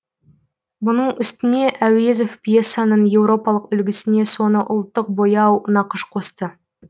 мұның үстіне әуезов пьесаның еуропалық үлгісіне соны ұлттық бояу нақыш қосты